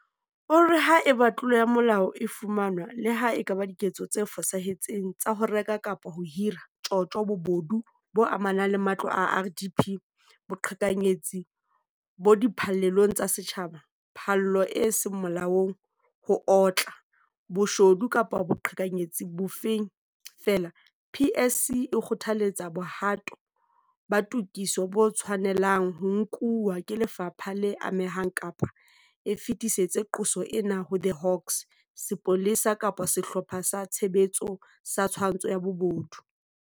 O re haeba tlolo ya molao e fumanwa - le ha e ka ba diketso tse fosahetseng tsa ho reka kapa ho hira, tjotjo, bobodu bo amanang le matlo a RDP, boqhekanyetsi bo di phallelong tsa setjhaba, phallo e seng molaong, ho otla, bo shodu kapa boqhekanyetsi bo bong feela - PSC e kgothaletsa bohato ba tokiso bo tshwane lang ho nkuwa ke lefapha le amehang kapa e fetisetse qoso ena ho The Hawks, Sepolesa kapa Sehlopha sa Tshebetso sa Twantsho ya Bobodu.